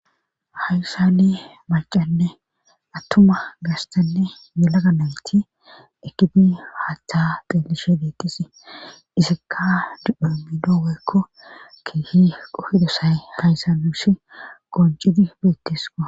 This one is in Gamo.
hayssani macanne attuma gastanne yelaga nayti ekidi haaththa xillishe deettis isakka didhon biido weykko kihi qofidosay kaysanushi qoncidi beettesqa